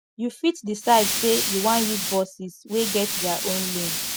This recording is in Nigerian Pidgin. you fit decide sey you wan use buses wey get their own lane